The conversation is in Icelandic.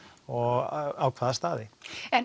og á hvaða staði en